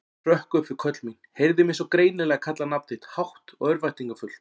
Hrökk upp við köll mín, heyrði mig svo greinilega kalla nafn þitt, hátt og örvæntingarfullt.